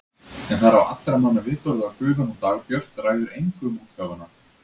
En það er á allra manna vitorði að gufan hún Dagbjört ræður engu um útgáfuna.